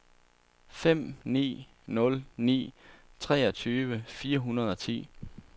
fem ni nul ni treogtyve fire hundrede og ti